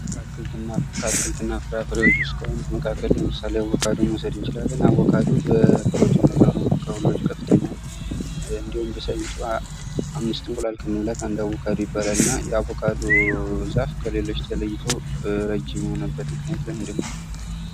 ከአትክልትና ፍራፍሬዎች ውስጥ ከሆኑት መካከል ለምሳሌ አቮካዶን መውሰድ እንችላለን ። አቮካዶ በፕሮቲን መጠኑ ከሁሎች ከፍተኛ እንዲሁም በሳይንሱ አምስት እንቁላል ከመብላት አንድ አቦካዶ ይባላልና የአቦካዶ ዛፍ ከሌሎች ተለይቶ ረጅም የሆነበት ምክንያት ለምንድን ነው ?